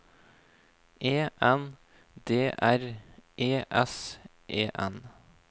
E N D R E S E N